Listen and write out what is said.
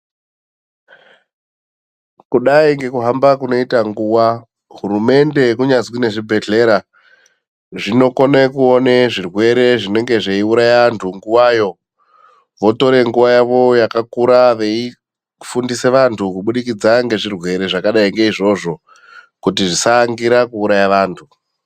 Kudai ngekuhamba kunoita nguva, hurumende kunyazwi nezvibhehlera zvinokone kuone zvirwere zvinenge zveiuraya antu nguvayo. Votore nguva yavo yakakura veifundisa vantu kubudikidza ngezvirwere zvakadai ngeizvozvo, kuti zvisaangira kiuraya vantu.